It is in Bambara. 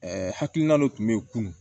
hakilina dɔ tun be yen kunun